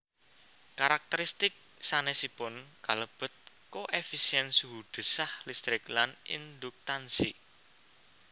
Karakteristik sanésipun kalebet koefisién suhu desah listrik lan induktansi